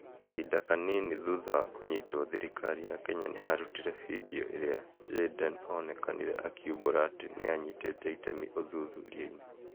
Kahinda kanini thutha wa kũnyitwo, thirikari ya Kenya nĩ yarutire bindiũ ĩrĩa Jayden onekanire akĩumbũra atĩ nĩ aanyitĩte itemi ũthuthuria-inĩ.